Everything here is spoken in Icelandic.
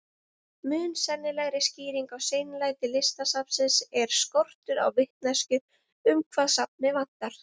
Mun sennilegri skýring á seinlæti Listasafnsins er skortur á vitneskju um hvað safnið vantar.